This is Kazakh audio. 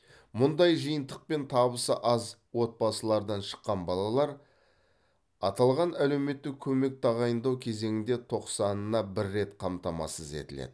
мұндай жиынтықпен табысы аз отбасылардан шыққан балалар аталған әлеуметтік көмек тағайындау кезеңінде тоқсанына бір рет қамтамасыз етіледі